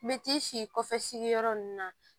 Me t'i si kɔfɛ sigiyɔrɔ ninnu na